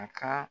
A ka